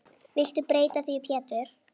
Viltu breyta því Pétur.